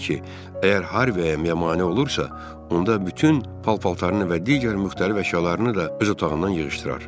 O dedi ki, əgər Harvy'yə mane olursa, onda bütün paltarını və digər müxtəlif əşyalarını da öz otağından yığışdırar.